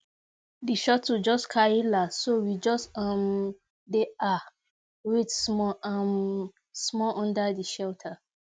the shuttle just carry last so we just um dey um wait small um small under the shelter